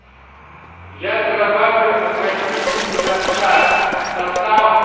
я зарабатываю от восьмидесяти до ста сосал